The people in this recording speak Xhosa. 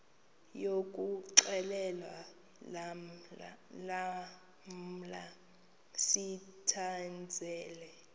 yokuxhelwa lamla sithandazel